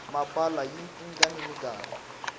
mpahla yi cinca ni minkarhi